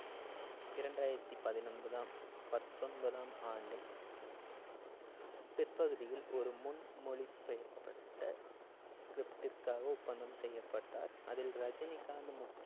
இரண்டாயிரத்தி பதினொன்பதாம்~ பத்தொன்பதாம் ஆண்டின் பிற்பகுதியில் ஒரு முன்மொழி~ பெயப்பட்ட script ற்காக ஒப்பந்தம் செய்யப்பட்டார் அதில் ரஜினிகாந்த் முக்கி~